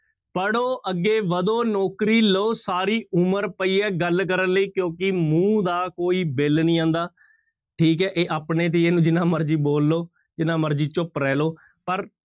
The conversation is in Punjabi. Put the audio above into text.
ਪੜ੍ਹੋ ਅੱਗੇ ਵਧੋ ਨੌਕਰੀ ਲਓ ਸਾਰੀ ਉਮਰ ਪਈ ਹੈ ਗੱਲ ਕਰਨ ਲਈ ਕਿਉਂਕਿ ਮੂੰਹ ਦਾ ਕੋਈ ਬਿੱਲ ਨੀ ਆਉਂਦਾ, ਠੀਕ ਹੈ ਇਹ ਆਪਣੇ ਤੇ ਇਹਨੂੰ ਜਿੰਨਾ ਮਰਜ਼ੀ ਬੋਲ ਲਓ ਜਿੰਨਾ ਮਰਜ਼ੀ ਚੁੱਪ ਰਹਿ ਲਓ ਪਰ